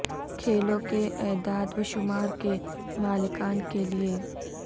کھیلوں کے اعداد و شمار کے مالکان کے لئے